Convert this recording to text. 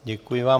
Děkuji vám.